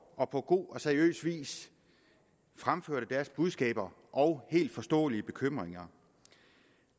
og på god og seriøs vis fremførte deres budskaber og helt forståelige bekymringer